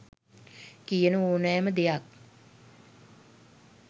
කියන ඕනෑම දෙයක්